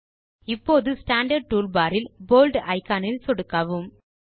இப்போது standard toolbar இல் bold icon இல் சொடுக்கவும்